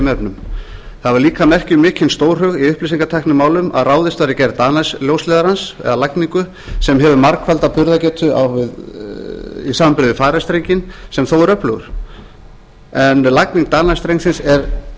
efnum það var líka merki um mikinn stórhug í upplýsingatæknimálum að ráðist var í gerð danice ljósleiðarans eða lagningu sem hefur margfalda burðargetu í samanburði við farice strenginn sem þó er öflugur en lagning danice strengsins er